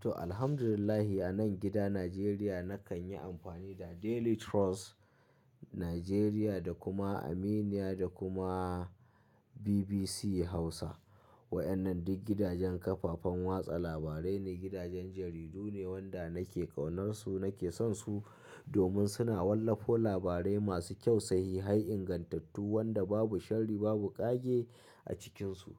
To, alhamdulillah a nan gida Najeriya nakan yi amfani da Daily Trust Nigeria da kuma Aminiya da kuma BBC Hausa. Wa'ƴannan duk gidajen kafafen watsa labarai ne, gidajen jaridu ne wanda nake ƙaunarsu, nake sonsu domin suna wallafa labarai masu kyau, sahihai, ingantattu wanda babu shari babu ƙage a cikinsu.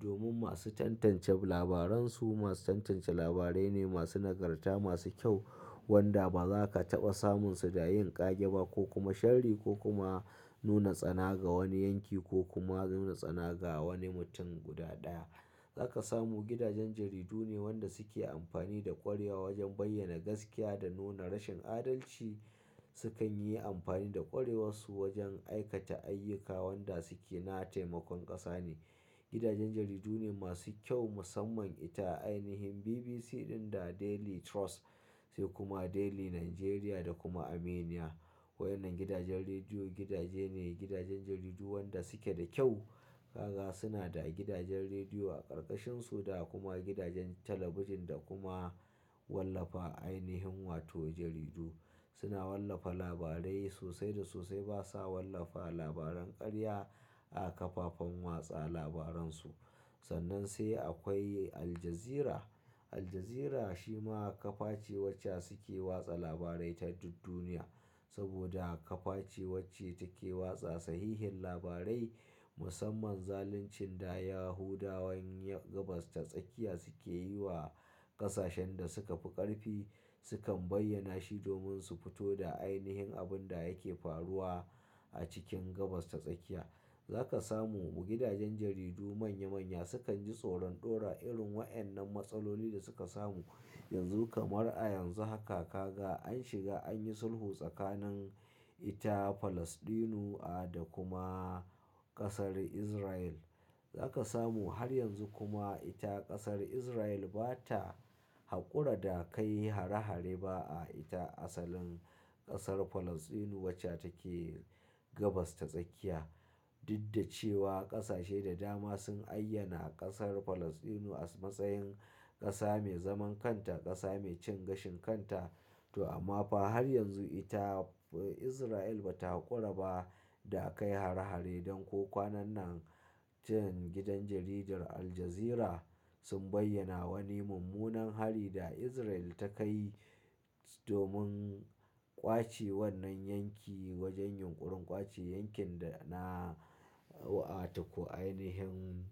Domin masu tantance labaransu, masu tantance labarai ne masu nagarta, masu kyau wanda ba za ka taɓa samunsu da yin ƙage ba ko kuma sharri ko kuma nuna tsana ga wani yanki ko kuma nuna tsana ga wani mutum guda ɗaya. Za ka samu gidajen jaridu ne wanda suke amfani da ƙwareya wajen bayyana gaskiya da nuna rashin adalci. Sukan yi amfani da ƙwarewarsu wajen aikata ayyuka wanda suke na taimakon ƙasa ne. Gidajen jaridu ne masu kyau musamman ita ainihin BBC ɗin da Daily Trust sai kuma Daily Nigeria da kuma Aminiya. Wa'ƴannan gidajen rediyo, gidaje ne, gidajen jaridu wanda suke da kyau. Ka ga suna da gidajen rediyo a ƙarƙashinsu da kuma gidajen talabijin da kuma wallafa ainihin wato jaridu. Suna wallafa labarai sosai da sosai. Ba sa wallafa labaran ƙarya a kafafen watsa labaransu. Sannan sai akwai Aljazeera. Aljazeera shi ma kafa ce wacce suke watsa labarai ta duk duniya saboda kafa ce wacce take watsa sahihin labarai. Musamman zaluncin da Yahudawan Gabas ta Tsakiya suke yi wa ƙasashen da suka fi ƙarfi. Sukan bayyana shi domin su fito da ainihin abun da yake faruwa a cikin Gabas ta Tsakiya. Za ka samu gidajen jaridu manya manya sukan ji tsoron ɗora irin wa'annan matsaloli da suka samu yanzu kamar a yanzu haka ka ga an shiga an yi sulhu tsakanin ita Falasɗinu a da kuma ƙasar Israil. Za ka samu har yanzu kuma ita ƙasar Izrail ba ta haƙura da kai hare-hare ba a ita asalin ƙasar Falasɗinu wacce take Gabas ta Tsakiya. Duk da cewa ƙasashe da dama sun ayyana ƙasar Falasɗinu a matsayin ƙasa mai zaman kanta, ƙasa mai cin gashin kanta. To amma fa har yanzu ita Izrail ba ta haƙura ba da a kai hare-hare. Don ko kwanan nan jiya gidan jaridar Aljazeera sun bayyana wani mummunan hari da Izrail ta kai domin ƙwace wannan yanki wajen yunƙurin ƙwace yankin da na, a to ko ainihin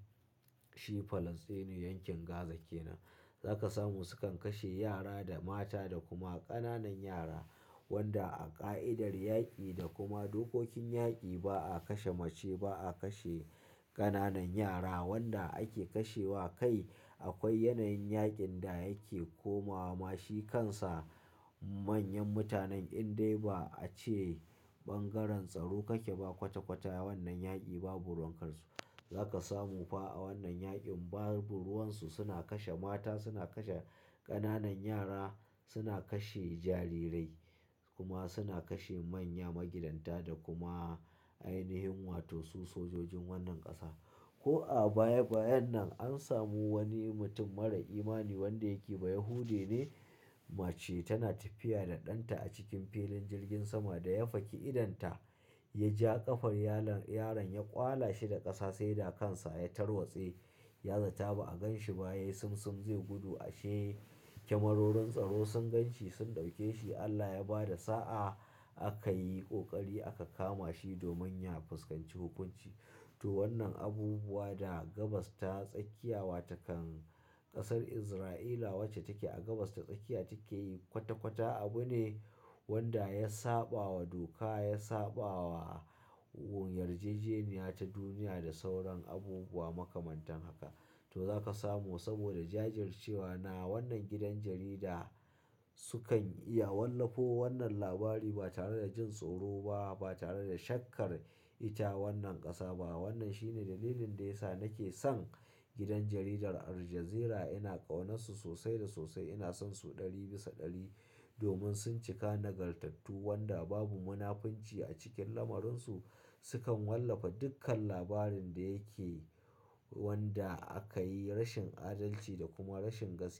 shi Falasɗinu yankin Gaza ke nan. Za ka samu sukan kashe yara da mata da kuma ƙananan yara wanda a ƙa'idar yaƙi da kuma dokokin yaƙi ba a kashe mace ba, a kashe ƙananan yara. Wanda ake kashe wa kai akwai yanayin yaƙin da yake komawa. Ma shi kansa manyan mutanen in dai ba a ce bangaren tsaro kake ba kwata-kwata wannan yaƙi babu ruwankansu. Za ka samu fa a wannan yaƙin babu ruwansu suna kashe mata, suna kashe ƙananan yara, suna kashe jarirai kuma suna kashe manya magidanta da kuma ainihin wato su sojojin wannan ƙasa. Ko a baya bayan nan an samu wani mutum marar imani wanda yake Bayahude ne. Mace tana tafiya da ɗanta a cikin filin jirgin sama da ya faki idonta. Ya ja ƙafar yalon yaron ya ƙwala shi da ƙasa sai da kansa ya tarwatse. Ya zata ba a ganshi ba yayi simsim zai gudu a shi. Kamarorin tsaro sun gan shi sun ɗauke shi. Allah ya bada sa'a aka yi ƙoƙari aka kama shi domin ya fuskanci hukunci. To wannan abubuwa da Gabas ta Tsakiya wa takan ƙasar Izraila wacce take a Gabas ta Tsakiya take yi kwata-kwata abu ne wanda ya saɓa wa doka, ya saɓa wa yarjejeniya ta duniya da sauran abubuwa makamantan haka. To za ka samu saboda jajircewa na wannan gidan jarida sukan iya wallafo wannan labari ba tare da jin tsoro ba, ba tare da shakkar ita wannan ƙasa ba. Wannan shine dalilin da ya sa nake son gidan jaridar Aljazeera. Ina ƙaunarsu sosai da sosai. Ina sonsu ɗari bisa ɗari domin sun cika nagartattu wanda babu munafunci a cikin lamuransu. Sukan wallafa dukkan labarin da yake wanda aka yi rashin adalci da kuma rashin gaskiya.